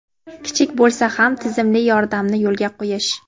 kichik bo‘lsa ham tizimli yordamni yo‘lga qo‘yish.